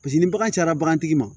Paseke ni bagan cayara bagan tigi ma